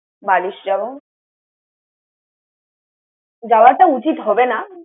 বারিশ যাবো। যাওয়াটা উচিত হবে না।